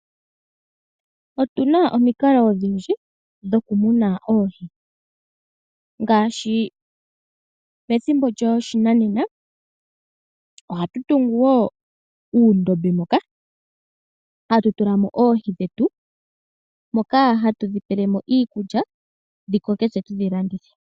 Otuna omikalo odhindji dhokumuna oohi ngaashi pethimbo lyoshinanena, ohatu tungu wo uundombe moka , hatu tulamo oohi dhetu moka hatu tulamo iikulya, dhikoke tse tudhi landithe.